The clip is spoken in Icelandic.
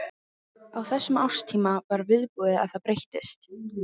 Á þessum árstíma var viðbúið að það breyttist.